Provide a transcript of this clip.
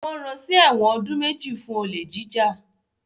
Wọ́n ran sí ẹ̀wọ̀n ọdún méjì fún olè jíjà